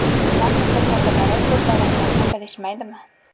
Tuman mutasaddilari bu zararlarni bilishmaydimi?